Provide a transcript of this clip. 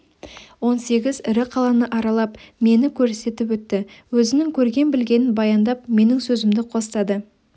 он сегіз ірі қаланы аралап мені көрсетіп өтті өзінің көрген-білгенін баяндап менің сөзімді қостады